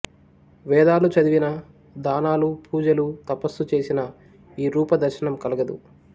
వేదాలు చదివినా దానాలు పూజలు తపస్సు చేసినా ఈ రూప దర్శనం కలుగదు